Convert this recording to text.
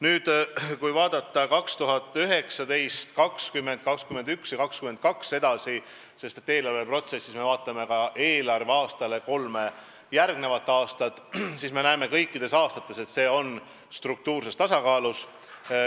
Nüüd, kui vaadata aastaid 2019, 2020, 2021 ja 2022 – eelarveprotsessis me vaatame ka konkreetsele eelarveaastale järgnevat kolme aastat –, siis me näeme, et kõikidel aastatel see on struktuurses tasakaalus.